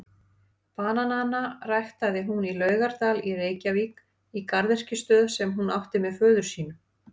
Bananana ræktaði hún í Laugardal í Reykjavík í garðyrkjustöð sem hún átti með föður sínum.